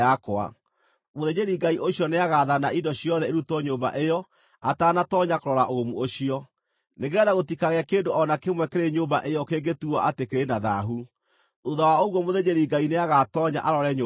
Mũthĩnjĩri-Ngai ũcio nĩagaathana indo ciothe irutwo nyũmba ĩyo atanatoonya kũrora ũgumu ũcio, nĩgeetha gũtikagĩe kĩndũ o na kĩmwe kĩrĩ nyũmba ĩyo kĩngĩtuuo atĩ kĩrĩ na thaahu. Thuutha wa ũguo mũthĩnjĩri-Ngai nĩagatoonya arore nyũmba ĩyo.